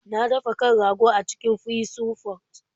Na dafa kan rago a cikin Pressure pot.